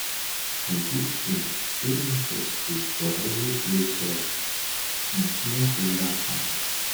composting dey necessary for heavy clay soil on smallholder farms